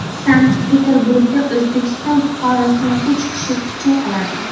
Sankt-Peterburgda O‘zbekiston fuqarosini uch kishi pichoqladi .